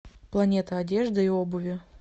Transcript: планета одежды и обуви